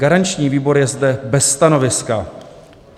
Garanční výbor je zde bez stanoviska.